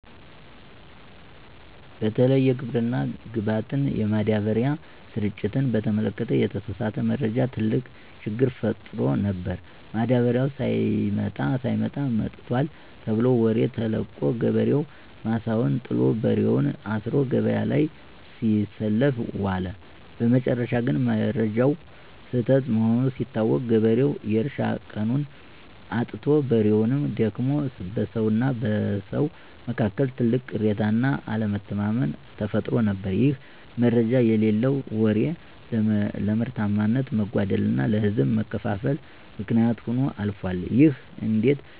በተለይ የግብርና ግብዓት (ማዳበሪያ) ስርጭትን በተመለከተ የተሳሳተ መረጃ ትልቅ ችግር ፈጥሮ ነበር። ማዳበሪያው ሳይመጣ "መጥቷል" ተብሎ ወሬ ተለቆ፣ ገበሬው ማሳውን ጥሎ፣ በሬውን አስሮ ገበያ ላይ ሲሰለፍ ዋለ። በመጨረሻ ግን መረጃው ስህተት መሆኑ ሲታወቅ፣ ገበሬው የእርሻ ቀኑን አጥቶ፣ በሬውም ደክሞ፣ በሰውና በሰው መካከልም ትልቅ ቅሬታና አለመተማመን ተፈጥሮ ነበር። ይሄ "መረጃ የሌለው ወሬ" ለምርታማነት መጓደልና ለህዝብ መከፋፈል ምክንያት ሆኖ አልፏል። ይህ እንዴት